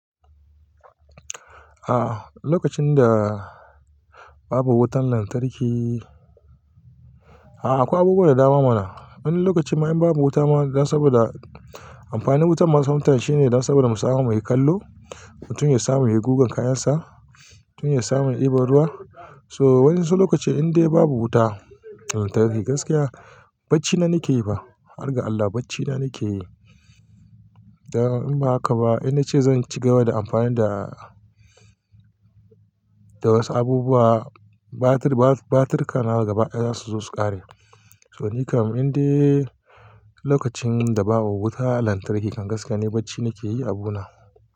A lokacin da babu wutan lantarki, a'a akwai abubuwan da dawa mana. Wani lokacin ma in babu wuta ma saboda amfanin wutan ma sometime shine dan saboda musamu muyi kallo, mutum ya samu ya yi gugan kayan sa, mutum ya samu ya yi iban ruwa. So wasu lokaci indai babu wuta. Lantarki gaskiya bacci na nake yi fa, har ga Allah bacci na nake yi. Dan in ba haka ba, ina ce zan ci gaba da amfani da, da wasu abubuwa batir, batir kana gaba ɗaya su zo su ƙare. So nika indai lokacin da babu wuta lantarki kan gaskiya ni bacci nake yi abu na.